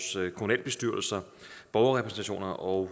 borgerrepræsentationer og